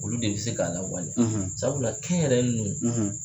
Olu de bɛ se k'a lawaleya sabula kɛnyɛrɛ ye ninnu